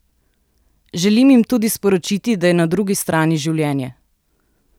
Želim jim tudi sporočiti, da je na drugi strani življenje!